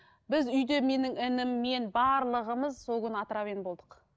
біз үйде менің ініммен барлығымыз сол күні отравление болдық